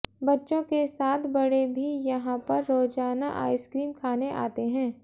बच्चों के साथ साथ बड़े भी यहां पर रोजाना आइसक्रीम खाने आते हैं